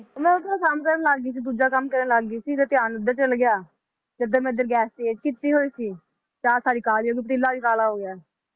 ਮੈ ਸਮਝਣ ਲਗ ਗਈ ਸੀ ਦੂਜਾ ਕੰਮ ਕਰਨ ਲੱਗ ਗਈ ਸੀ ਤੇ ਧਿਆਨ ਓਧਰ ਚਲਾ ਗਿਆ ਤੇ ਏਧਰ ਮੈ Gas ਤੇਜ ਕੀਤੀ ਹੋਈ ਸੀ ਚਾਅ ਸਾਰੀ ਕਾਲੀ ਹੋਗਈ ਪਤੀਲਾ ਵੀ ਕਾਲਾ ਹੋ ਗਿਆ